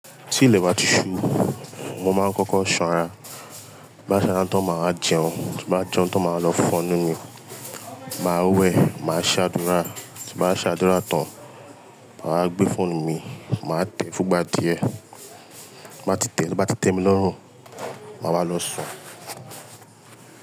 Tí ilẹ̀ bá ti ṣú, mo máa ń kọ́kọ́ sanra. Bá sanra tán máa a jẹun, tí bá jẹun tán máa lọ fọ́nu mi, màá wẹ̀, màá ṣàdúrà. Ti bá ṣàdúrà tán, màá gbé fóònù mi, màá tẹ̀ fún ìgbà díẹ̀. Bá tí tẹ̀, bá tí tẹ̀ mí lọ́rùn, màá wá lọ sùn.